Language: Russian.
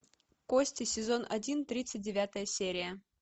кости сезон один тридцать девятая серия